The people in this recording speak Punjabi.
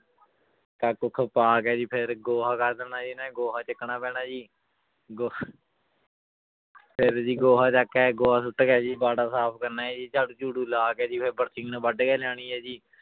ਕੱਖ ਕੁੱਖ ਪਾ ਕੇ ਜੀ ਫਿਰ ਗੋਹਾ ਕਰ ਦੇਣਾ ਜੀ ਇਹਨਾਂ ਨੇ ਗੋਹਾ ਚੁੱਕਣਾ ਪੈਣਾ ਜੀ ਗੋ ਫਿਰ ਜੀ ਗੋਹਾ ਚੁੱਕ ਕੇ ਗੋਹਾ ਸੁੱਟ ਕੇ ਜੀ ਬਾੜਾ ਸਾਫ਼ ਕਰਨਾ ਹੈ ਜੀ ਝਾੜੂ ਝੂੜੂ ਲਾ ਕੇ ਜੀ ਫਿਰ ਬਰਸੀਨ ਵੱਢ ਕੇ ਲਿਆਉਣੀ ਹੈ ਜੀ